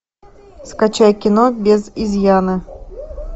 скачай кино без изъяна